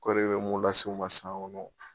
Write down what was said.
Kɔri bɛ mun lase u ma san ŋɔnɔ